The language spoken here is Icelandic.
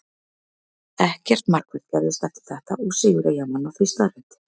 Ekkert markvert gerðist eftir þetta og sigur Eyjamanna því staðreynd.